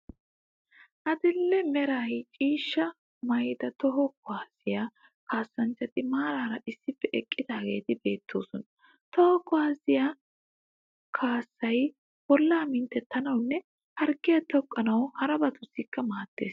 Adil'e Mera ciishsha maayida toho kuwaasiya kaassanchchati maraara issippe eqqidaageeti beettoosona. Toho kuwaasiya kaassay bollaa minttettanawunne harggiya teqqanawu harabatussikka maaddes.